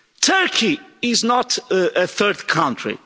Turkey is not a third country.